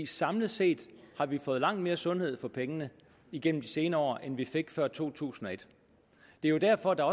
samlet set har vi fået langt mere sundhed for pengene igennem de senere år end vi fik før to tusind og et det er jo derfor at der